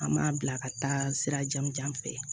An m'a bila ka taa sira jan fɛ